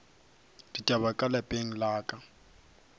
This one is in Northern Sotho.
ditaba ka lapeng la ka